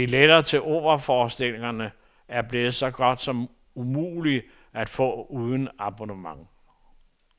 Billetter til operaforestillingerne er blevet så godt som umulige at få uden abonnement.